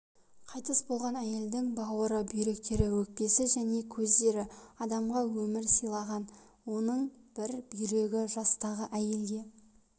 қайтыс болған әйелдің бауыры бүйректері өкпесі және көздері адамға өмір сыйлаған оның бір бүйрегі жастағы әйелге